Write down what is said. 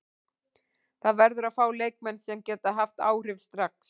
Það verður að fá leikmenn sem geta haft áhrif strax.